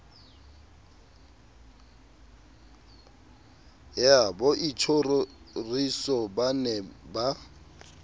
ya boitjhoriso ba ne ba